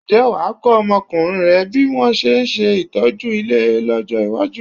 Ǹjẹ́ wà á kọ́ ọmọkùnrin rẹ bí wọn ṣe ń ṣe ìtọ́jú ilé lọ́jọ́ iwájú?